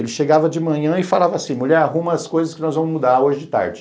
Ele chegava de manhã e falava assim, mulher, arruma as coisas que nós vamos mudar hoje de tarde.